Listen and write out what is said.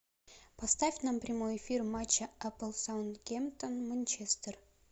поставь нам прямой эфир матча апл саутгемптон манчестер